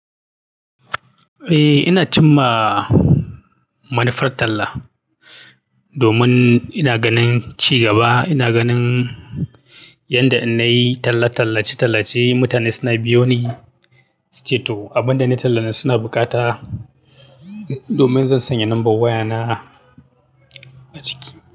Eh, ina cin ma manufar talla domin ina ganin ci gaba. Ina ganin yanda in na yi talla tallace-tallace, mutane suna biyo ni. Ceto abin da nai tallanan suna bukata domin zan sanya lambar wayana a ciki.